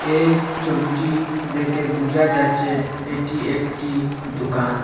এই ছবিটি দেখে বুঝা যাচ্ছে এটি একটি দোকান।